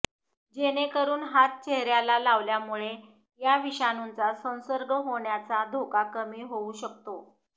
जेणेकरून हात चेहऱ्याला लावल्यामुळे या विषाणूचा संसर्ग होण्याचा धोका कमी होऊ शकतो